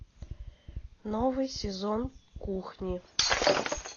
новый сезон кухни